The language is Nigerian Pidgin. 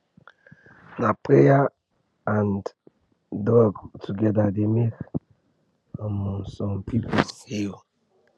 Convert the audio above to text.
na prayer and drug together dey make um some people heal